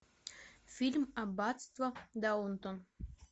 фильм аббатство даунтон